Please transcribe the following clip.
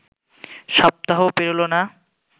সপ্তাহও পেরোল না